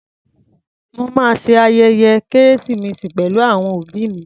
Mo ma ṣe ayẹyẹ kérésìmesì pẹ̀lú àwọn òbí mi.